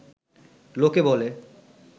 লোকে বলে